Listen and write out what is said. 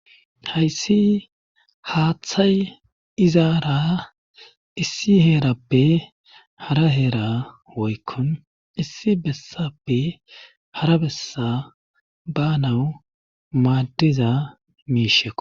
hayssi haaththay izaara issi heerappe hara heera woykkon issi bessappe hara bessa ba nawu maaddiza miisheko